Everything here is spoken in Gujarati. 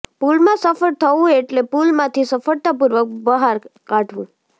પૂલમાં સફળ થવું એટલે પૂલમાંથી સફળતાપૂર્વક બહાર કાઢવું